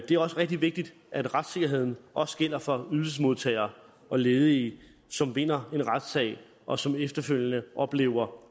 det er rigtig vigtigt at retssikkerheden også gælder for ydelsesmodtagere og ledige som vinder en retssag og som efterfølgende oplever